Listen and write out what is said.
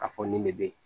Ka fɔ nin de be yen